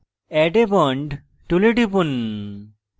add a bond tool টিপুন